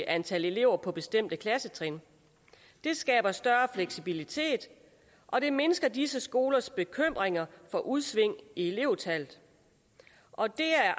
antal elever på bestemte klassetrin det skaber større fleksibilitet og det mindsker disse skolers bekymringer for udsving i elevtallet og det er